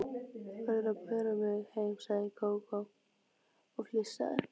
Þú verður að bera mig heim, sagði Gógó og flissaði.